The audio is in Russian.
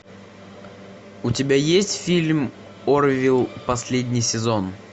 у тебя есть фильм орвилл последний сезон